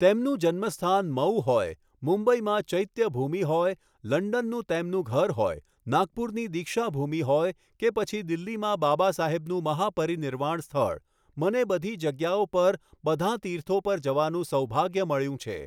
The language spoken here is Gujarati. તેમનું જન્મ સ્થાન મહુ હોય, મુંબઈમાં ચૈત્યભૂમિ હોય, લંડનનું તેમનું ઘર હોય, નાગપુરની દીક્ષા ભૂમિ હોય, કે પછી દિલ્લીમાં બાબાસાહેબનું મહાપરિનિર્વાણ સ્થળ, મને બધી જગ્યાઓ પર, બધાં તીર્થો પર જવાનું સૌભાગ્ય મળ્યું છે.